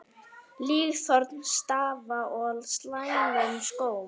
Líkþorn stafa af slæmum skóm.